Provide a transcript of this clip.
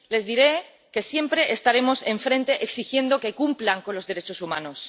Les diré que siempre estaremos enfrente exigiendo que cumplan con los derechos humanos.